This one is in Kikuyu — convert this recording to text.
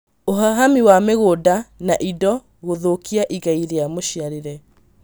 Ũhahami wa mĩgũnda na indo gũthũkia igai rĩa mũciarĩre